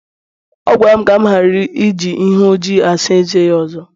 ọ gwara m ka m ghara iji ihe ọjị asaa eze ya ọzọ